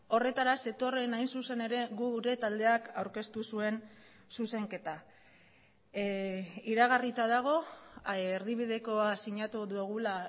horretara zetorren hain zuzen ere gu gure taldeak aurkeztu zuen zuzenketa iragarrita dago erdibidekoa sinatu dugula